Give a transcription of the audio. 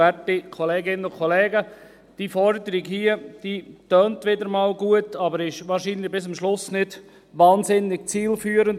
Diese Forderung tönt wieder mal gut, ist aber wahrscheinlich bis am Schluss nicht wahnsinnig zielführend.